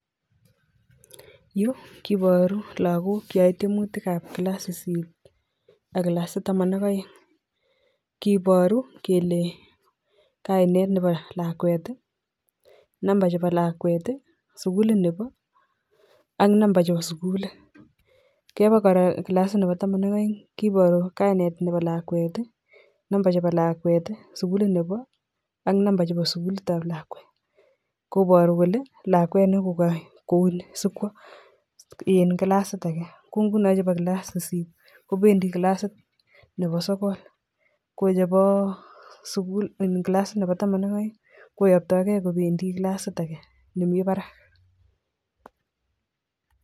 Yu kiporu lakokcheyoei tiemutik ap kilass sisit ak kilasit taman ak oeng kiporu kele kainet nepo lakwet , number chepo lakwet, sikulit nepo ak number chepo sikulit. kepa kora kilasit nepo taman ak oeng kiporu kainet nepo lakwet, number chepo lakwet, sukulit nepo, ak number chepo sukulit ap lakwet koporu kole lakwet nekopo kouni sikwoen kilasit ake ko nguno chebo kilasit nebo kilas sisit kopendi kilasit nepo sokol kochepo kilasit nebo taman ak oeng koyoptokei kopendi kilasit ake nemi barak